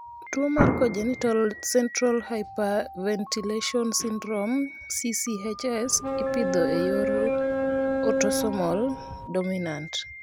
Tuwo mar congenital central hypoventilation syndrome (CCHS) ipidho e yor otosomal dominant.